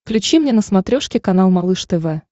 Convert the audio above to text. включи мне на смотрешке канал малыш тв